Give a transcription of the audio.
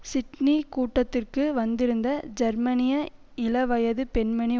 Sydney கூட்டத்திற்கு வந்திருந்த ஜெர்மனிய இளவயதுப் பெண்மணி